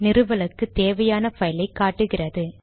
நிறுவலுக்கு தேவையான பைலை காட்டுகிறது